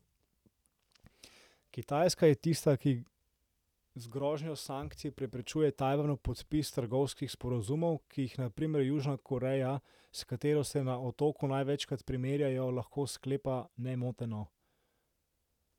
Kitajska je tista, ki z grožnjo sankcij preprečuje Tajvanu podpis trgovinskih sporazumov, ki jih na primer Južna Koreja, s katero se na otoku največkrat primerjajo, lahko sklepa nemoteno.